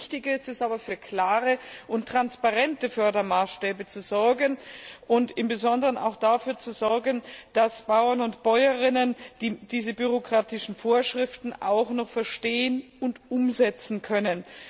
Umso wichtiger ist es aber, für klare und transparente Fördermaßstäbe und im Besonderen auch dafür zu sorgen, dass Bauern und Bäuerinnen diese bürokratischen Vorschriften auch noch verstehen und umsetzen können.